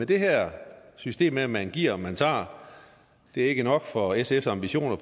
det her system med at man giver og man tager er ikke nok for sfs ambitioner